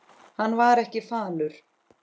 Hann var ekki falur.